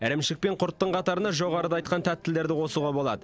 ірімшік пен құрттың қатарына жоғарыда айтқан тәттілерді қосуға болады